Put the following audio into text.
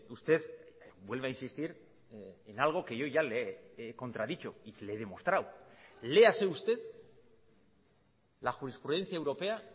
usted vuelve a insistir en algo que yo ya le he contradicho y que le he demostrado léase usted la jurisprudencia europea